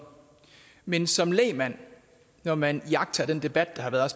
men som lægmand når man iagttager den debat der har været